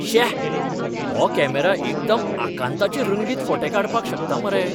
श्याss हो कॅमेरा एकदम आकांताचे रंगीत फोटे काडपाक शकता मरे!